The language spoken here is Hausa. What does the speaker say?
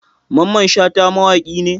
Mamman Shata mawaki ne.